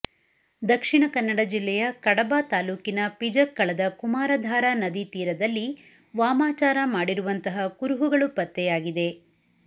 ದಕ್ಷಿಣಕನ್ನಡ ಜಿಲ್ಲೆಯ ಕಡಬ ತಾಲೂಕಿನ ಪಿಜಕ್ಕಳದ ಕುಮಾರಧಾರಾ ನದಿ ತೀರದಲ್ಲಿ ವಾಮಾಚಾರ ಮಾಡಿರುವಂತಹ ಕುರುಹುಗಳು ಪತ್ತೆಯಾಗಿದೆ